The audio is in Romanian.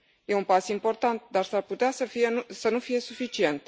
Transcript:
E un pas important, dar s ar putea să nu fie suficient.